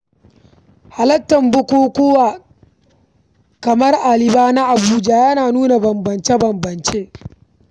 Halartar bukukuwa kamar Kanibal na Abuja yana nuna bambance-bambance.